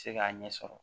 Se k'a ɲɛ sɔrɔ